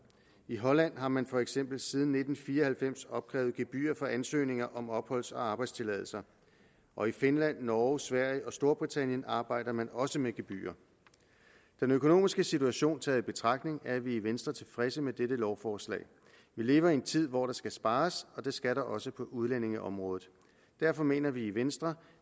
i holland har man for eksempel siden nitten fire og halvfems opkrævet gebyr for ansøgninger om opholds og arbejdstilladelser og i finland norge sverige og storbritannien arbejder man også med gebyrer den økonomiske situation taget betragtning er vi i venstre tilfredse med dette lovforslag vi lever i en tid hvor der skal spares og det skal der også på udlændingeområdet derfor mener vi i venstre